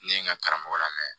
Ne ye n ka karamɔgɔ lamɛn